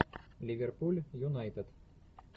ливерпуль юнайтед